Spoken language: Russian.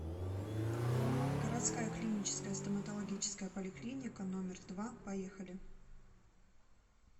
городская клиническая стоматологическая поликлиника номер два поехали